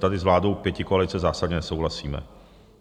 Tady s vládou pětikoalice zásadně nesouhlasíme.